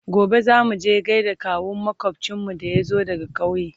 gobe zamuje gaida kawun makwafcinmu da ya zo daga ƙauye